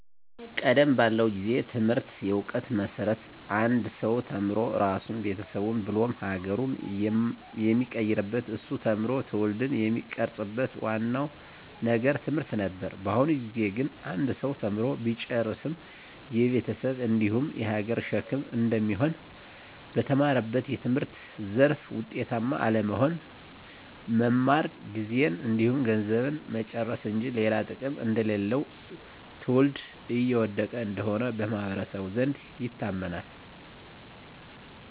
ቀደም ባለው ጊዜ ትምህርት የእውቀት መሰረት አንድ ሰው ተምሮ ራሱን ቤተሰቡን ብሎም ሀገሩን የሚቀይርበት እሱ ተምሮ ትውልድን የሚቀርፅበት ዋናው ነገር ትምህርት ነበር። በአሁኑ ጊዜ ግን አንድ ሰው ተምሮ ቢጨርስም የቤተሰብ እንዲሁም የሀገር ሸክም እንደሚሆን፣ በተማረበት የትምህርት ዘርፍ ውጤታማ አለመሆን፣ መማር ጊዜን እንዲሁም ገንዘብን መጨረስ እንጂ ሌላ ጥቅም እንደሌለው ትውልድ እየወደቀ እንደሆነ በማህበረሰቡ ዘንድ ይታመናል።